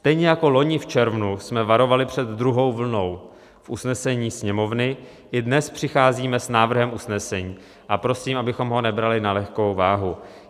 Stejně jako loni v červnu jsme varovali před druhou vlnou v usnesení Sněmovny, i dnes přicházíme s návrhem usnesení a prosím, abychom ho nebrali na lehkou váhu.